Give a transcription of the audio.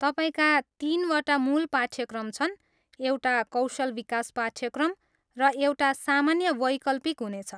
तपाईँका तिनवटा मूल पाठ्यक्रम छन्, एउटा कौशल विकास पाठ्यक्रम, र एउटा सामान्य वैकल्पिक हुनेछ।